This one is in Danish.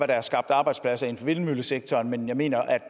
der er skabt arbejdspladser inden for vindmøllesektoren men jeg mener